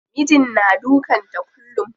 Mijin na dukan ta kullum.